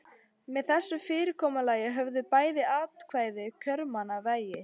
Með þessu fyrirkomulagi höfðu bæði atkvæði kjörmanna vægi.